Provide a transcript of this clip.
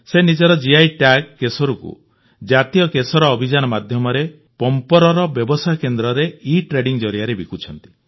ସେ ନିଜର GI tag କେଶରକୁ ଜାତୀୟ କେଶର ଅଭିଯାନ ମାଧ୍ୟମରେ ପମ୍ପୋରର ବ୍ୟବସାୟ କେନ୍ଦ୍ରରେ ଇଟ୍ରେଡିଙ୍ଗ ଜରିଆରେ ବିକୁଛନ୍ତି